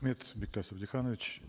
бектас абдыханович